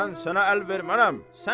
Mən sənə əl vermərəm.